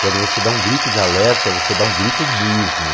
Quando você dá um grito de alerta, você dá um grito mesmo.